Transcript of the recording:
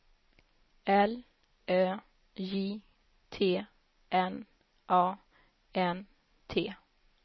L Ö J T N A N T